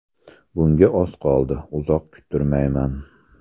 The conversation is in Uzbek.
Bunga oz qoldi, uzoq kuttirmayman.